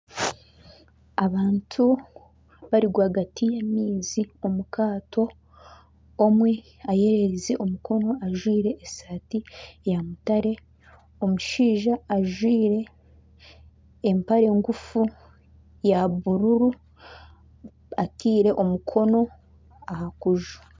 Abantu bari rwagati y'amaizi omu kaato, omwe ayererize omukono ajwaire esaati ya mutare, omushaija ajwaire empare ngufu ya bururu ataire omukono aha kuju.